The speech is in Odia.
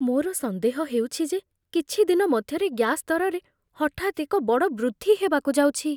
ମୋର ସନ୍ଦେହ ହେଉଛି ଯେ କିଛି ଦିନ ମଧ୍ୟରେ ଗ୍ୟାସ୍ ଦରରେ ହଠାତ୍ ଏକ ବଡ଼ ବୃଦ୍ଧି ହେବାକୁ ଯାଉଛି।